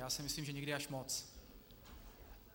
Já si myslím, že někdy až moc.